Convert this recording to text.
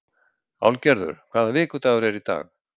Álfgerður, hvaða vikudagur er í dag?